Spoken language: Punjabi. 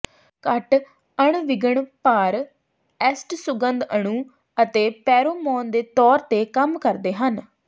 ਘੱਟ ਅਣਵਿਘਨ ਭਾਰ ਐਸਟ ਸੁਗੰਧ ਅਣੂ ਅਤੇ ਪੈਰੋਮੋਨ ਦੇ ਤੌਰ ਤੇ ਕੰਮ ਕਰਦੇ ਹਨ